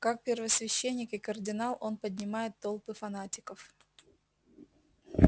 как первосвященник и кардинал он поднимает толпы фанатиков